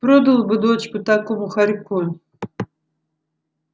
продал бы дочку такому хорьку